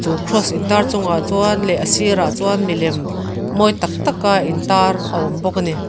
chu cross in tar chungah chuan leh a sirah chuan milem mawi tak tak a intar a awm bawk ani.